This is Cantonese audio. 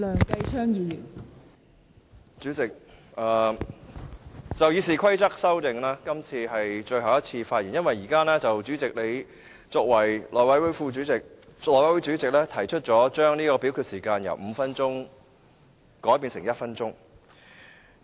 代理主席，就《議事規則》的修訂，今次是我最後一次發言，因為代理主席已以內務委員會主席身份，提出將點名表決鐘聲由5分鐘縮短至1分鐘。